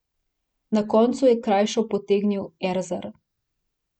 Na koncu je krajšo potegnil Erzar.